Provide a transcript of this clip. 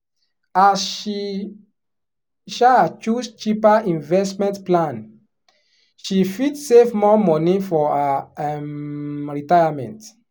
as she um choose cheaper investment plan she fit save more money for her um retirement.